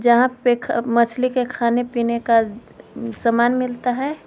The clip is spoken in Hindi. यहां पे अह मछली के खाने पीने का सामान मिलता है।